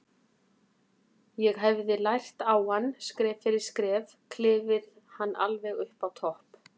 Ég hefði lært á hann, skref fyrir skref, klifið hann alveg upp á topp.